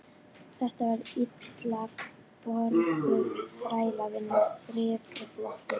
Þetta var illa borguð þrælavinna, þrif og þvottur.